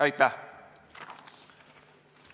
Aitäh!